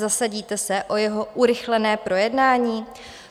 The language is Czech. Zasadíte se o jeho urychlené projednání?